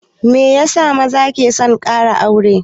Meyasa maza ke son ƙara aure?